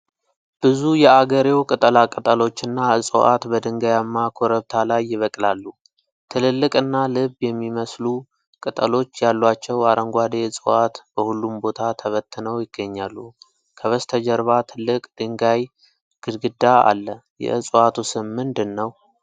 ብዙ የአገሬው ቅጠላቅጠሎችና እፅዋት በድንጋያማ ኮረብታ ላይ ይበቅላሉ። ትልልቅና ልብ የሚመስሉ ቅጠሎች ያሏቸው አረንጓዴ ዕፅዋት በሁሉም ቦታ ተበትነው ይገኛሉ። ከበስተጀርባ ትልቅ የድንጋይ ግድግዳ አለ። የእፅዋቱ ስም ምንድን ነው?